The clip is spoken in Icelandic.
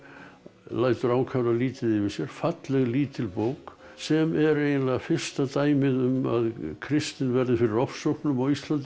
lætur ákaflega lítið yfir sér falleg lítil bók sem er eiginlega fyrsta dæmið um að kristni verður fyrir ofsóknum á Íslandi